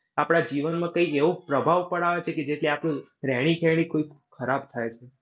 આપણા જીવનમાં કોઈ એવો પ્રભાવ પડાવે છે કે જેથી આપનો રહેણી ખરાબ થાય છે.